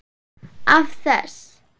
Af þess